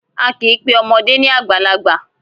A kì í pe ọmọdé ni àgbàlagbà.